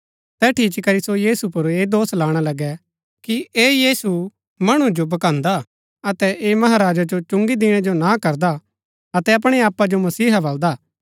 तैठी इच्ची करी सो यीशु पुर ऐह दोष लाणा लगै कि ऐह यीशु मणु जो भकान्‍दा अतै ऐह महाराजा जो चुंगी दिणै जो ना करदा अतै अपणै आपा जो मसीहा बल्‍दा